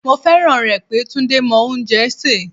Mo fẹ́ràn rẹ̀ pé Túndé mọ oúnjẹ sè.